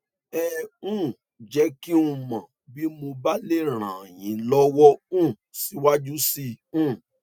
ẹ um jẹ kí n mọ bí mo bá lè ràn yín lọwọ um síwájú síi um